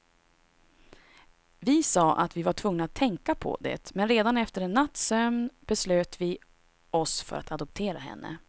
Vi sa att vi var tvungna att tänka på det, men redan efter en natts sömn beslöt vi oss för att adoptera henne.